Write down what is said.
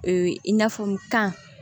Ee i n'a fɔ kan